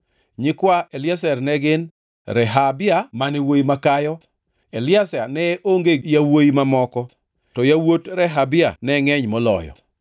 Nyikwa Eliezer ne gin: Rehabia mane wuowi makayo. Eliezer ne onge gi yawuowi mamoko, to yawuot Rehabia ne ngʼeny moloyo.